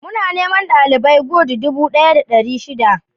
Muna neman dalibeai gud dubu daya da dari shida